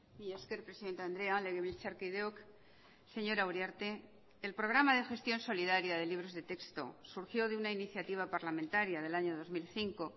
mila esker presidente andrea legebiltzarkideok señora uriarte el programa de gestión solidaria de libros de texto surgió de una iniciativa parlamentaria del año dos mil cinco